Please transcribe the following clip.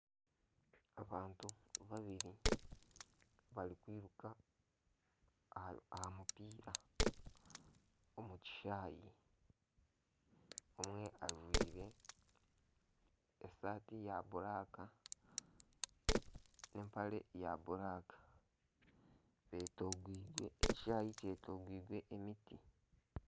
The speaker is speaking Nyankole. Abantu babiri barikwiruka aha mupiira omukishaayi omwe ajwaire esaati erikwiragura nana empare erikwiragura ekishaayi kyetoreirwe emiti.